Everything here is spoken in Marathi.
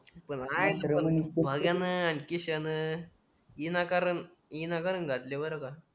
मंग्या ना आणखी शण इनाकारण विनाकारण घातले बरं का